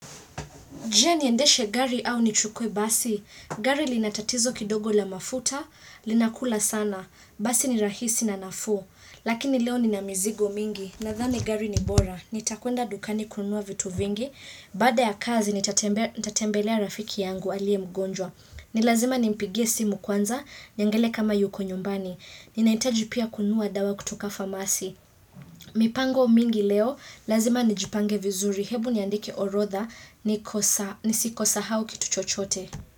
Je niendeshe gari au nichukue basi. Gari linatatizo kidogo la mafuta, linakula sana. Basi ni rahisi na nafuu. Lakini leo ninamizigo mingi. Nathani gari ni bora. Nitakwenda dukani kununua vitu vingi. Baada ya kazi, nitatembelea rafiki yangu aliye mgonjwa. Nilazima nimpigie simu kwanza, niangele kama yuko nyumbani. Ninahitaji pia kununua dawa kutoka famasi. Mipango mingi leo, lazima nijipange vizuri, hebu niandike orotha, nisi kosa hau ki tuchochote.